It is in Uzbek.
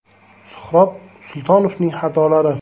Suhrob Sultonovning xatolari?